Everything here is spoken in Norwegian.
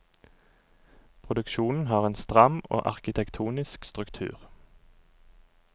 Produksjonen har en stram og arkitektonisk struktur.